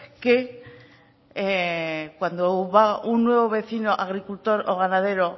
cuando un nuevo vecino agricultor o ganadero